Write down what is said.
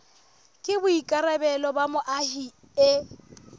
ke boikarabelo ba moahi e